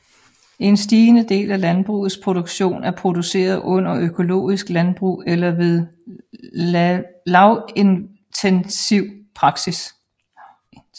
En stigende del af landbrugets produktion er produceret under økologisk landbrug eller ved lavintensiv praksis